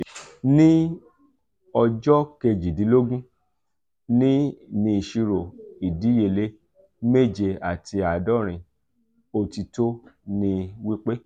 ni ojo kejidinlogun ni isiro idiyele meje ati aadorin otito ni um wipe...